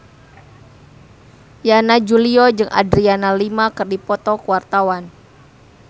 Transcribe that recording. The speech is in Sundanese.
Yana Julio jeung Adriana Lima keur dipoto ku wartawan